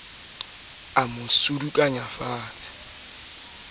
se ke wa ja pakeng